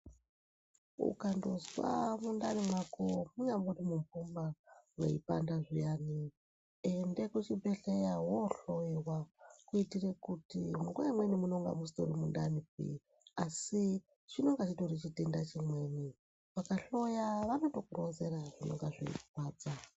Ukandozwa mundani mwako munyangori mumhumba mweipanda zviyani enda kuchibhedhlera woohloiwa kuitire kuti nguwa imweni munonga musitori mundanipi asi chinonga chitori chitenda chimweni. Vakahloya vanotokuronzera zvinonga zveirwadza.